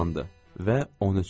Və 13 çıxdı.